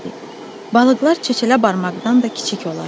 Balıqlar çəçələ barmaqdan da kiçik olardı.